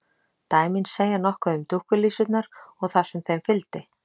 Dæmin segja nokkuð um dúkkulísurnar og það sem þeim fylgdi.